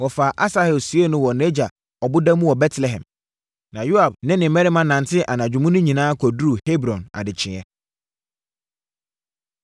Wɔfaa Asahel siee no wɔ nʼagya ɔboda mu wɔ Betlehem. Na Yoab ne ne mmarima nantee anadwo mu no nyinaa kɔduruu Hebron adekyeeɛ.